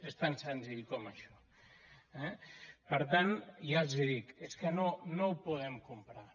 és tan senzill com això eh per tant ja els hi dic és que no ho podem comprar